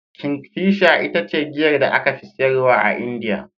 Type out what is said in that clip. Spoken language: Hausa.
Kingfisher ita ce giyar da aka fi siyarwa a Indiya.